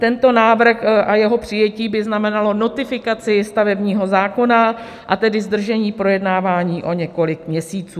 Tento návrh a jeho přijetí by znamenalo notifikaci stavebního zákona a tedy zdržení projednávání o několik měsíců.